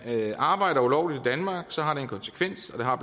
arbejder ulovligt danmark har det en konsekvens og det har